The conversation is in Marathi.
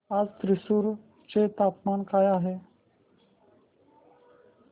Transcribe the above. आज थ्रिसुर चे हवामान काय आहे